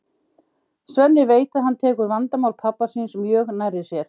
Svenni veit að hann tekur vandamál pabba síns mjög nærri sér.